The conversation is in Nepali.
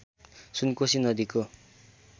सुनकोसी नदीको